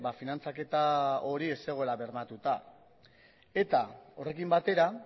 finantzaketa hori ez zegoela bermatuta eta horrekin batera